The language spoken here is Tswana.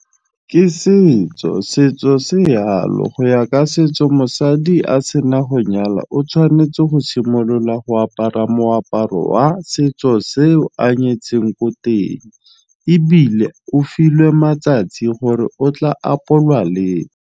Ke setso, setso se yalo go ya ka setso mosadi a se na go nyala o tshwanetse go simolola go apara moaparo wa setso se a nyetseng ko teng ebile o filwe matsatsi gore o tla apolwa leng.